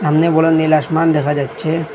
সামনে বড় নীল আসমান দেখা যাচ্ছে।